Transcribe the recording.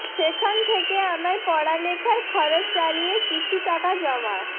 সেখান থেকে আমার পড়ালেখার খরচ চালিয়ে কিছু টাকা জমা